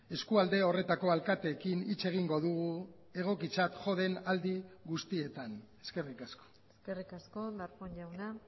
eskualde horretako alkateekin hitz egingo dugu egokitzat jo den aldi guztietan eskerrik asko eskerrik asko darpón jauna